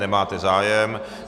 Nemáte zájem.